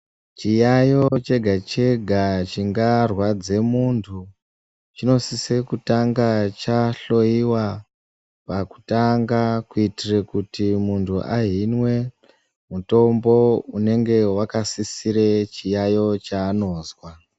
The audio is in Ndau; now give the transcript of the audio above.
Chi yayo chega chega chinga rwadze muntu chino sise kutanga cha hloyiwa pa kutanga ku itire kuti muntu ahinwe mutombo unenge waka sisire chiyayo cha anozwa.